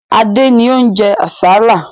Adé ni ó ń jẹ àsálà.